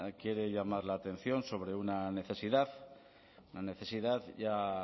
quiere llamar la atención sobre una necesidad una necesidad ya